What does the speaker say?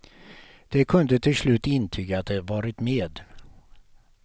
De kunde till slut intyga att de varit med.